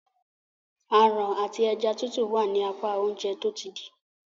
Aràn àti ẹja titu wá ní apá Oúnjẹ tó ti dì.